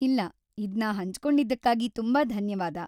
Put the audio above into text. ಇಲ್ಲ, ಇದ್ನ ಹಂಚ್ಕೊಂಡಿದ್ಕಾಗಿ ತುಂಬಾ ಧನ್ಯವಾದ.